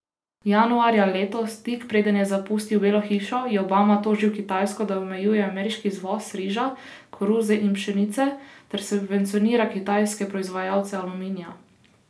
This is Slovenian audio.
Januarja letos, tik preden je zapustil Belo hišo, je Obama tožil Kitajsko, da omejuje ameriški izvoz riža, koruze in pšenice ter subvencionira kitajske proizvajalce aluminija.